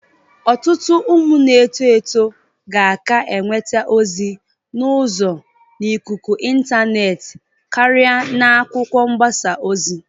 Ọtụtụ ụmụ na-eto eto ga-aka enwete ozi n'uzo n'ikuku intaneetị karị n'akwụkwọ mgbasa ozi.